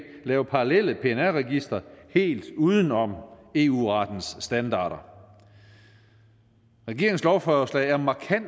lave parallelle pnr registre helt uden om eu rettens standarder regeringens lovforslag er markant